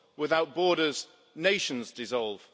Without borders, nations dissolve.